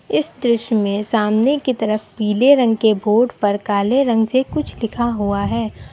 इस दृश्य में सामने की तरफ पीले रंग के बोर्ड पर काले रंग से कुछ लिखा हुआ है।